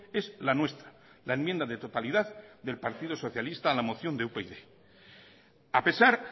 es la nuestra la enmienda de totalidad del partido socialista en la moción de upyd a pesar